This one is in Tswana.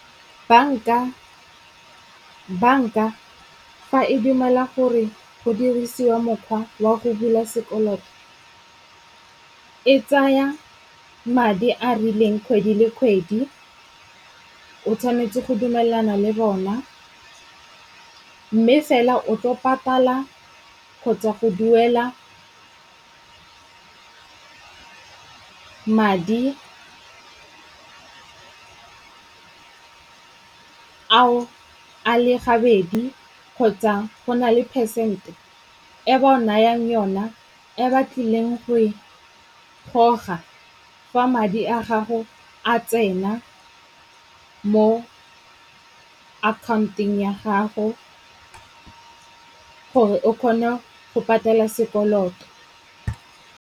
Banka fa e dumela gore go dirisiwa mokgwa wa go bula sekoloto, e tsaya madi a a rileng kgwedi le kgwedi. O tshwanetse go dumelana le bona. Mme fela o tlo patala kgotsa go duela madi ao a le gabedi kgotsa go na le phesente e ba o nayang yona e ba tlileng go e goga fa madi a gago a tsena mo account-eng ya gago gore o kgone go patala sekoloto.